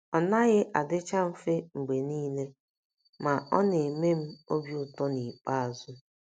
Ọ naghị adịcha mfe mgbe niile, ma, ọ na - eme m obi ụtọ n’ikpeazụ.